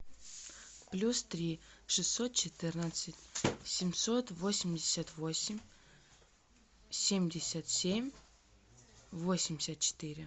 плюс три шестьсот четырнадцать семьсот восемьдесят восемь семьдесят семь восемьдесят четыре